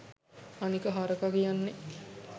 අනික හරක කියන්නේ